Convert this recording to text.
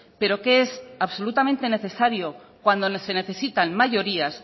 pero que es absolutamente necesario cuando se necesitan mayorías